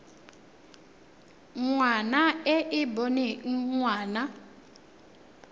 ngwana e e boneng ngwana